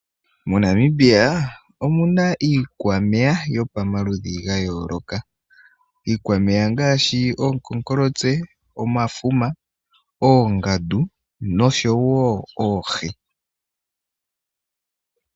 Monamibia omuna iikwameya yopamaludhi ga yooloka. Iikwameya ongaashi, oonkonkolotse, omafuma, oongandu, noshowo oohi.